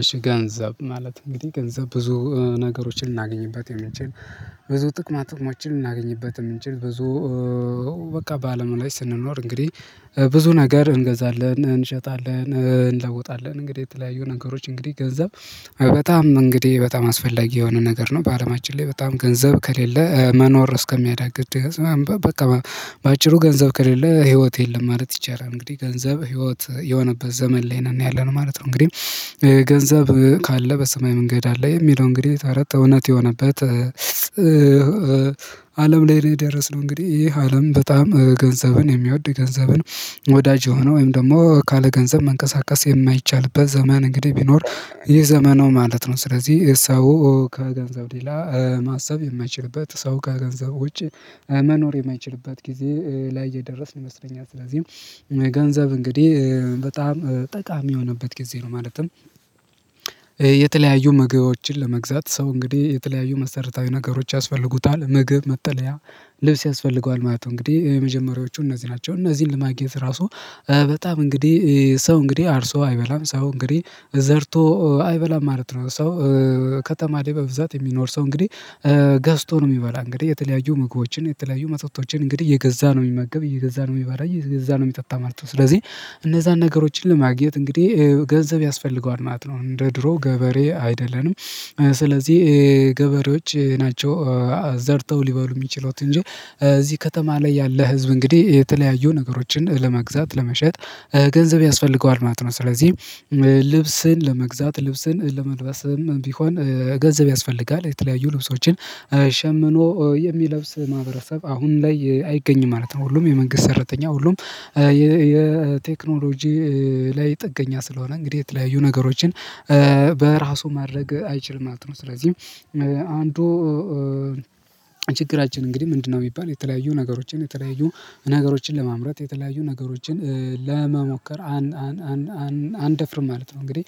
እሺ ገንዘብ ማለት እንግዲህ ገንዘብ ብዙ ነገሮችን ልናገኝበት የምንችል ብዙ ጥቅማጥቅሞችን ልናገኝበት የምንችል ብዙ። በአለም ላይ ስንኖር እንግዲህ ብዙ ነገር እንገዛለን እንሸጣለን እንለውጣለን እንግዲህ የተለያዩ ነገሮች እንግዲህ ገንዘብ በጣም እንግዲህ በጣም አስፈላጊ የሆነ ነገር ነው በአለማችን ላይ በጣም ገንዘብ ከሌለ መኖር እስከሚያዳግድ በቃ በቃ በአጭሩ ገንዘብ ከሌለ ህይወት የለም ማለት ይቻላል። እንግዲህ ገንዘብ ህይወት የሆነበት ዘመን ላይ ነው ያለነው ማለት ነው። እንግዲህ ገንዘብ ካለ በሰማይ መንገድ አለ የሚለው እንግዲህ ተረት እውነት የሆነበት። አለም ላይ እኔ የደረስነው እንግዲህ ይሄ አለም በጣም ገንዘብን የሚወድ ገንዘብን ወዳጅ ሆኖ ወይም ደግሞ ካለ ገንዘብ መንቀሳቀስ የማይቻልበት ዘመን እንግዲህ ቢኖር የዘመኑ ማለት ነው። ስለዚህ ሰው ከገንዘብ ሌላ ማሰብ የማይችልበት ሰው ከገንዘብ ውጪ መኖር የማይችልባት ጊዜ ላይ እየደረስን ይመስለኛል። ስለዚህ ገንዘብ እንግዲህ በጣም ጠቃሚ የሆነበት ጊዜ ነው። ማለትም የተለያዩ ምግቦችን ለመግዛት ሰው እንግዲህ የተለያዩ መሰረታዊ ነገሮች ያስፈልጉታል ምግብ መጠለያ ልብስ ያስፈልገዋል ማለት ነው። እንግዲህ የመጀመሪያዎቹ እነዚህ ናቸው። እነዚህን ለማግኘት ራሱ በጣም እንግዲህ ሰው እንግዲህ አርሶ አይበላም ሰው እንግዲህ ዘርቶ አይበላም ማለት ነው። ሰው ከተማ ላይ በብዛት የሚኖር ሰው እንግዲህ ገዝቶ ነው የሚበላ። እንግዲህ የተለያዩ ምግቦችን የተለያዩ መጠጦችን እንግዲህ እየገዛ ነው የሚመገብ እየገዛ ነው የሚባል የገዛ ነው የሚጠጣ ማለት ነው። ስለዚህ እነዛን ነገሮችን ለማግኘት እንግዲህ ገንዘብ ያስፈልገዋል ማለት ነው። እንደ ድሮ ገበሬ አይደለንም። ስለዚህ ገበሬዎች ናቸው ዘርተው ሊበሉ የሚችሉት። እንጂ እዚህ ከተማ ላይ ያለ ህዝብ እንግዲህ የተለያዩ ነገሮችን ለመግዛት ለመሸጥ ገንዘብ ያስፈልገዋል ማለት ነው። ስለዚህ ለመግዛት ልብስን ለመልበስም ቢሆን ገንዘብ ያስፈልጋል። የተለያዩ ልብሶችን ሸምኖ የሚለብስ ማህበረሰብ አሁን ላይ አይገኝም ማለት ነው። ሁሉም የመንግስት ሰረተኛ ሁሉም የቴክኖሎጂ ላይ ጥገኛ ስለሆነ እንግዲህ የት ለህዩ ነገሮችን በራሱ ማድረግ አይችልም ማለት ነው። ስለዚህ አንዱ ችግራችን እንግዲህ ምንድነው? የሚባል የተለያዩ ነገሮችን የተለያዩ ነገሮችን ለማምረት የተለያዩ ነገሮችን ለመሞከር አን አንደፍርም ማለት ነው። እንግዲህ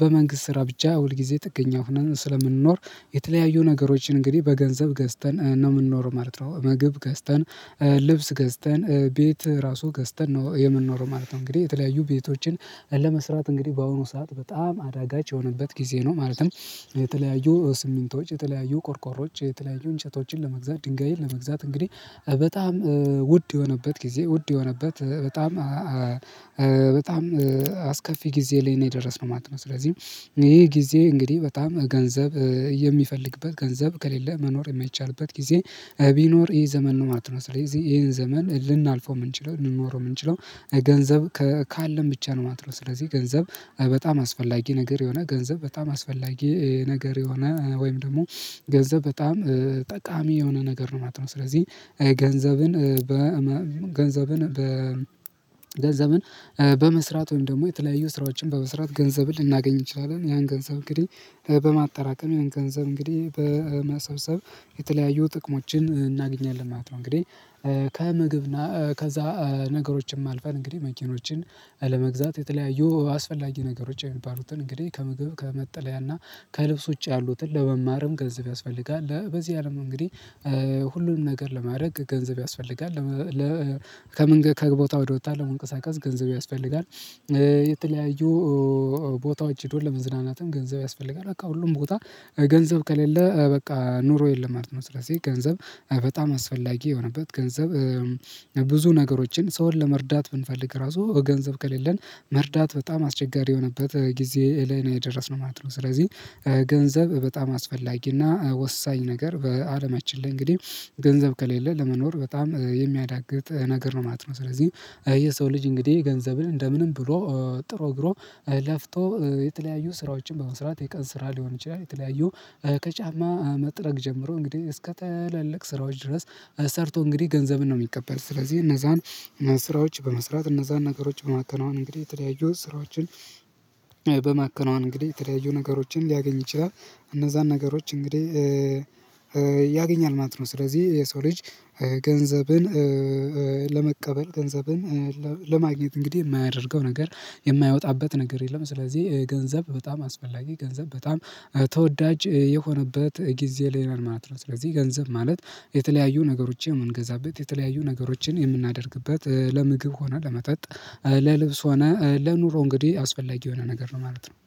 በመንግስት ስራ ብቻ ሁል ጊዜ ጥገኛ ሆነን ስለምንኖር የተለያዩ ነገሮችን እንግዲህ በገንዘብ ገዝተን ነው የምንኖረው ማለት ነው። ምግብ ገዝተን ልብስ ገዝተን ቤት ራሱ ገዝተን ነው የምንኖረው ማለት ነው። እንግዲህ የተለያዩ ቤቶችን ለመስራት እንግዲህ በአሁኑ ሰዓት በጣም አዳጋች የሆነበት ጊዜ ነው። ማለትም የተለያዩ ስምንቶች የተለያዩ ቆርቆሮዎች የተለያዩ እንጨቶችን ለመግዛት ድንጋይን ለመግዛት እንግዲህ በጣም ውድ የሆነበት ጊዜ ውድ የሆነበት በጣም በጣም አስከፊ ጊዜ ላይ ነው የደረስነው ማለት ነው። ስለዚህ ይሄ ይሄ ጊዜ እንግዲህ በጣም ገንዘብ የሚፈልግበት ገንዘብ ከሌለ መኖር የማይቻልበት ጊዜ ቢኖር ይሄ ዘመን ነው ማለት ነው። ስለዚህ ይሄን ዘመን ልናልፈው የምንችለው ልንኖረው የምንችለው ገንዘብ ካለን ብቻ ነው ማለት ነው። ስለዚህ ገንዘብ በጣም አስፈላጊ ነገር የሆነ ገንዘብ በጣም አስፈላጊ ነገር የሆነ ወይም ደግሞ ገንዘብ በጣም ጠቃሚ የሆነ ነገር ነው ማለትነው። ስለዚህ ገንዘብን በ ገንዘብን በመስራት ወይም ደግሞ የተለያዩ ስራዎችን በመስራት ገንዘብ ልናገኝ እንችላለን ያን ገንዘብ እንግዲህ በማጠራቀም ገንዘብ እንግዲህ በማሰብሰብ የተለያዩ ጥቅሞችን እናገኛለን ማለት ነው። እንግዲህ ከምግብ እና ከዛ ነገሮችን አልፈን እንግዲህ መኪኖችን ለመግዛት የተለያዩ አስፈላጊ የሚባሉትን እንግዲህ ከምግብ ከመጠለያና ከልብሶች ያሉትን ለመማርም ገንዘብ ያስፈልጋል። በዚህ አለም እንግዲህ ሁሉንም ነገር ለማድረግ ገንዘብ ያስፈልጋል። ከምን ከቦታው ወደ ወጥታ መንቀሳቀስ ገንዘብ ያስፈልጋል። የተለያዩ ቦታዎች ሄዶ ለመዝናናትም ገንዘብ ያስፈልጋል። በቃ ሁሉም ቦታ ገንዘብ ከሌለ በቃ ኑሮ የለም ማለት ነው። ስለዚህ ገንዘብ በጣም አስፈላጊ የሆነበት ገንዘብ ብዙ ነገሮችን ሰውን ለመርዳት ብንፈልግ ራሱ ገንዘብ ከሌለን መርዳት በጣም አስቸጋሪ የሆነበት ጊዜ ላይ ነው የደረስነው ማለት ነው። ስለዚህ ገንዘብ በጣም አስፈላጊና ወሳኝ ነገር በአለማችን ላይ እንግዲህ ገንዘብ ከሌለ ለመኖር በጣም የሚያዳግት ነገር ነው ማለት ነው። ስለዚህ የሰው ልጅ እንግዲህ ገንዘብን እንደምንም ብሎ ጥሮ ግሮ ለፍቶ የተለያዩ ስራዎችን በመስራት የቀን ስራ ሊሆን ይችላል። የተለያዩ ከጫማ መጥረግ ጀምሮ እንግዲህ እስከ ተለለቅ ስራዎች ድረስ ሰርቶ እንግዲህ ገንዘብን ነው የሚቀበል። ስለዚህ እነዛን ስራዎች በመስራት እነዛን ነገሮች በማከናወን እንግዲህ ተለያዩት ስራዎችን በማከናወን እንግዲህ የተለያዩ ነገሮችን ሊያገኝ ይችላል። እነዛን ነገሮች እንግዲህ ያገኛል ማለት ነው። ስለዚህ የሰው ልጅ ገንዘብን ለመቀበል ገንዘብን ለማግኘት እንግዲህ የማያደርገው ነገር የማያወጣበት ነገር የለም። ስለዚህ ገንዘብ በጣም አስፈላጊ ገንዘብ በጣም ተወዳጅ የሆነበት ጊዜ ነን ማለት ነው። ስለዚህ ገንዘብ ማለት የተለያዩ ነገሮችን የምንገዛበት የተለያዩ ነገሮችን የምናደርግበት ለምግብ ሆነ ለመጠጥ ለልብስ ሆነ ለኑሮ እንግዲህ አስፈላጊ የሆነ ነገር ነው ማለት ነው